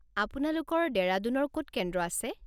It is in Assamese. আপোনালোকৰ ডেৰাডুনৰ ক'ত কেন্দ্ৰ আছে?